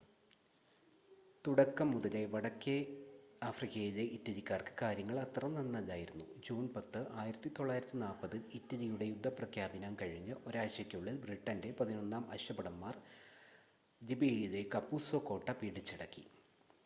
തുടക്കം മുതലേ വടക്കേ ആഫ്രിക്കയിലെ ഇറ്റലിക്കാർക്ക് കാര്യങ്ങൾ അത്ര നന്നല്ലായിരുന്നു ജൂൺ 10 1940 ൽ ഇറ്റലിയുടെ യുദ്ധപ്രഖ്യാപനം കഴിഞ്ഞ് ഒരാഴ്ചക്കുള്ളിൽ ബ്രിട്ടൻ്റെ 11-ാം അശ്വഭടൻമാർ ലിബിയയിലെ കപുസോ കോട്ട പിടിച്ചടക്കി